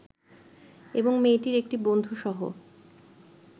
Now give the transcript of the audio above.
এবং মেয়েটির একটি বন্ধু সহ